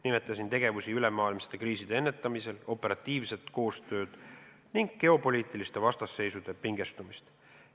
Nimetasin tegevusi ülemaailmsete kriiside ennetamisel, operatiivset koostööd ning geopoliitiliste vastasseisude pingestumist.